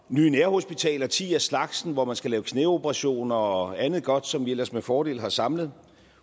nye nærhospitaler ti af slagsen hvor der skal laves knæoperationer og andet godt som vi ellers med fordel har samlet